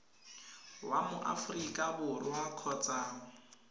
wa mo aforika borwa kgotsa